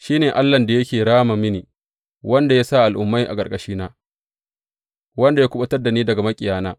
Shi ne Allahn da yake rama mini, wanda ya sa al’ummai a ƙarƙashina, wanda ya kuɓutar da ni daga maƙiyina.